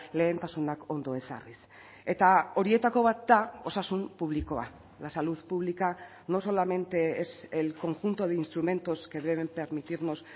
lehentasunak ondo ezarriz eta horietako bat da osasun publikoa la salud pública no solamente es el conjunto de instrumentos que deben permitirnos